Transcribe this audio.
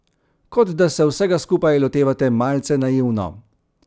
Kot da se vsega skupaj lotevate malce naivno.